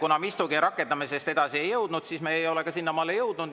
Kuna me istungi rakendamisest edasi ei jõudnud, siis me ei ole ka sinnamaale jõudnud.